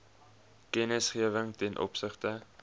kennisgewing ten opsigte